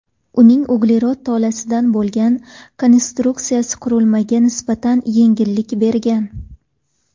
Uning uglerod tolasidan bo‘lgan konstruksiyasi qurilmaga nisbatan yengillik bergan.